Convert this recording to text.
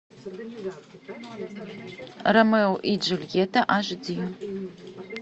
ромео и джульетта аш ди